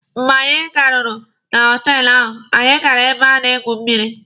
Mgbe anyị garuru na họtelụ ahụ, anyị gara ebe a na-egwu mmịrị.